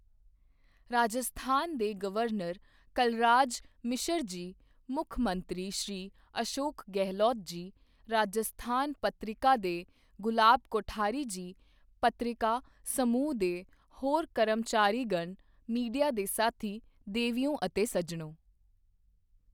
ਰਾਜਸਥਾਨ ਦੇ ਗਵਰਨਰ ਕਲਰਾਜ ਮਿਸ਼ਰ ਜੀ, ਮੁੱਖ ਮੰਤਰੀ ਸ਼੍ਰੀ ਅਸ਼ੋਕ ਗਹਿਲੋਤ ਜੀ, ਰਾਜਸਥਾਨ ਪੱਤ੍ਰਿਕਾ ਦੇ ਗੁਲਾਬ ਕੋਠਾਰੀ ਜੀ, ਪੱਤ੍ਰਿਕਾ ਸਮੂਹ ਦੇ ਹੋਰ ਕਰਮਚਾਰੀਗਣ, ਮੀਡੀਆ ਦੇ ਸਾਥੀ, ਦੇਵੀਓ ਅਤੇ ਸੱਜਣੋਂ!